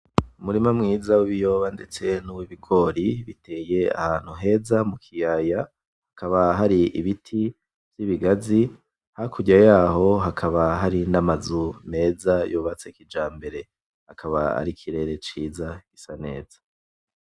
Umurima mwiza w’ibiyoba ndetse Nuwi bigori biteye ahantu heza mu kiyaya kakaba hari ibiti vy’ibigazi hakurya yaho hakaba hari n’amazu meza yubatse kijambere hakaba hari ikirere ciza gisa neza.